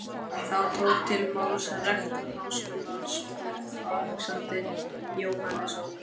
Þá tók til máls rektor Háskólans próf. Alexander Jóhannesson.